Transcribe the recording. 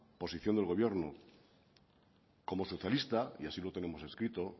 posición del gobierno como socialista y así lo tenemos escrito